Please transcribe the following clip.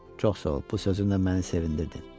Çox sağ ol, bu sözünlə məni sevindirdin.